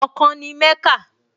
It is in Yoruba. Ọkàn ni Mẹ́kà